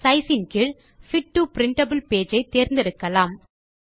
sizeன் கீழ் fit to printable page ஐ தேர்ந்தெடுக்கலாம்